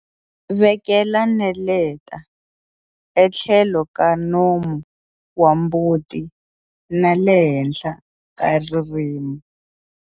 Vekela neleta etlhelo ka nomu wa mbuti na le henhla ka ririmi.